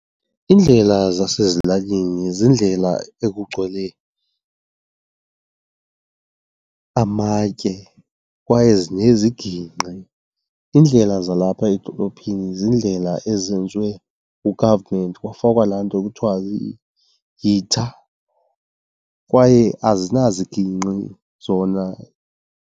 Iindlela zasezilalini ziindlela ekugcwele amatye kwaye zinezigingqi. Iindlela zalapha edolophini ziindlela ezenziwe ngu-government kwafikwa laa nto kuthiwa yitha kwaye azinazigingqi zona.